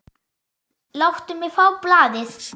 Láttu mig fá blaðið!